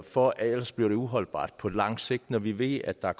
for ellers bliver det uholdbart på lang sigt når vi ved at der